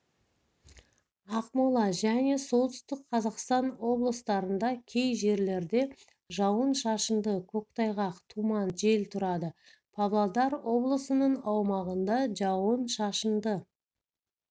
ақмола және солтүстік қазақстан облыстарында кей жерлерде жауын-шашынды көктайғақ тұман жел тұрады павлодар облысының аумағында жауын-шашынды